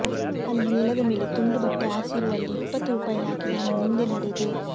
ಅಲ್ಲಿ ನೆಲದ ಮೇಲೆ ತುಂಡುಬಟ್ಟೆ ಹಾಸಿರುವಲ್ಲಿ ಇಪ್ಪತ್ತು ರೂಪಾಯಿ ಹಾಕಿ ನಾನು ಮುಂದೆ ನಡೆದೆ